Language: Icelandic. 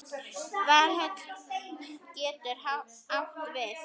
Valhöll getur átt við